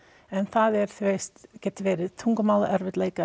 en það er þú veist geta verið